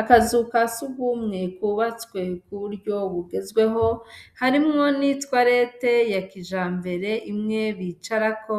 Akazu ka sugumwe kubatswe ku buryo bugezweho harimwo n'itwarete yakijambere imwe bicarako,